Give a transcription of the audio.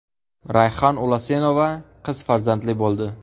Rayhon Ulasenova qiz farzandli bo‘ldi .